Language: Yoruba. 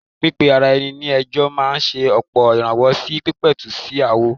Pípe ara ẹni ní ẹjọ́ máa ṣe ọ̀pọ̀ ìrànwọ́ sí pípẹ̀tù sí aáwọ̀.